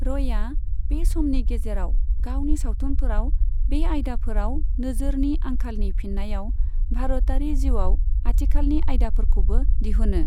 रयआ बे समनि गेजेराव गावनि सावथुनफोराव बे आयदाफोराव नोजोरनि आंखालनि फिननायाव भारतारि जिउआव आथिखालनि आयदाफोरखौबो दिहुनो।